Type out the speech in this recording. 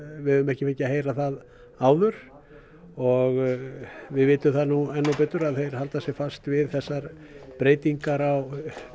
við höfum ekki fengið að heyra það áður og við vitum það núna enn þá betur að þeir halda sig fast við þessar breytingar á